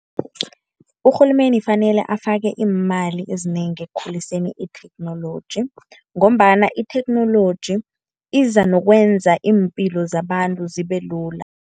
Urhulumeni fanele afake iimali ezinengi ekukhuliseni itheknoloji, ngombana itheknoloji iza nokwenza iimpilo zabantu zibe lula.